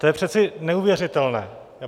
To je přece neuvěřitelné!